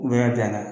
U bɛ bila la